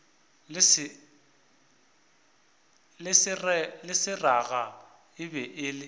le seraga e be e